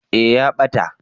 eh ya ɓata